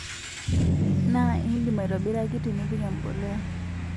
Naa idim aitobiraki tinipik embuliya